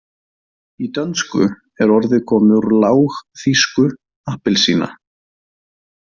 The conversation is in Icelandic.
Í dönsku er orðið komið úr lágþýsku appelsina.